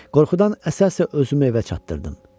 Qorxudan əsə-əsə özümü evə çatdırdım.